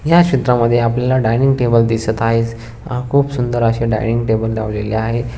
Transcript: या चित्रा मध्ये आपल्याला डाईंनिंग टेबल दिसत आहे. हा खूप सुंदर अशे डायनिंग टेबल लावलेले आहेत.